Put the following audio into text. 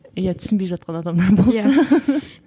иә түсінбей жатқан адамдар болса